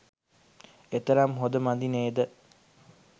එතරම් හොඳ මදි නේද.